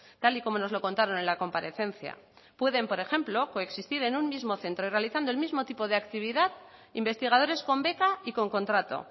tal y como nos lo contaron en la comparecencia pueden por ejemplo coexistir en un mismo centro y realizando el mismo tipo de actividad investigadores con beca y con contrato